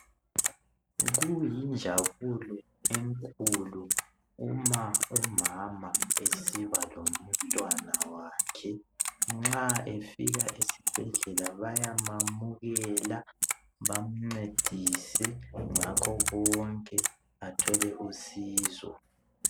Kuyinjabulo enkulu uma umama esiba lomntwana wakhe nxa efika esibhedlela bayamamukela bamncedise ngakho konke, athole usizo.